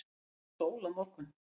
er sól á morgun